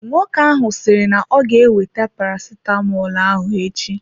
Nwoke ahụ sịrị na-oga ewete paracetamolu ahụ echi.